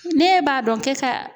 N'e b'a dɔn k'e ka